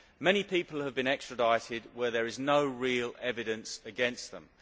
Many people have been extradited where there is no real evidence against them.